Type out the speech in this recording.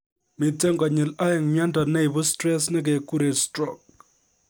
Miten konyil oen myondo neibu stress nekikuren stroke